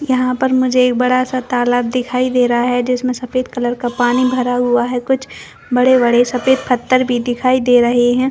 यहाँ पर मुझे एक बड़ा सा तालाब दिखाई दे रहा है जिसमें सफ़ेद कलर का पानी भरा हुआ है कुछ बड़े - बड़े सफ़ेद पत्थर भी दिखाई दे रहे है।